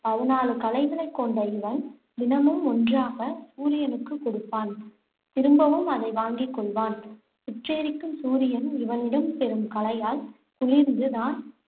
பதினாலு கலைகளைக் கொண்ட இவன், தினமும் ஒன்றாக சூரியனுக்கு கொடுப்பான். திரும்பவும் அதை வாங்கிக் கொள்வான். சுட்டெரிக்கும் சூரியன், இவனிடம் பெறும் கலையால் குளிர்ந்து தான்